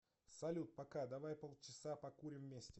салют пока давай полчаса покурим вместе